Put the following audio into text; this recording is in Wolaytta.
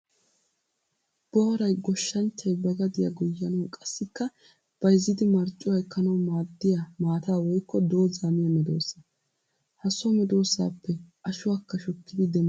Booray goshanchchay ba gadiya goyyanawu qassikka bayzzidi marccuwa ekkanawu maaddiya maata woykko dooza miya medosa. Ha so medosappe ashuwakka shukkidi demettees.